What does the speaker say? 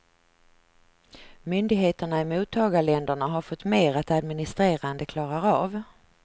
Myndigheterna i mottagarländerna har fått mer att administrera än de klarar av.